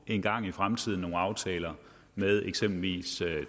engang i fremtiden nogle aftaler med eksempelvis